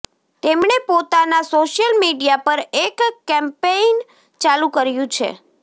તેમણે પોતાના social media પર એક કેમ્પેઈન ચાલુ કર્યું છે